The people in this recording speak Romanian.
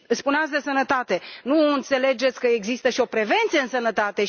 Și, spuneați de sănătate, nu înțelegeți că există și o prevenție în sănătate?